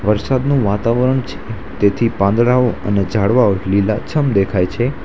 વરસાદનું વાતાવરણ છે તેથી પાંદડાઓ અને ઝાડવાઓ લીલાછમ દેખાય છે.